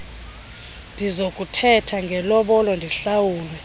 ndizokuthetha ngelobola ndihlawule